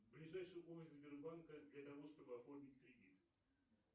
ближайший офис сбербанка для того чтобы оформить кредит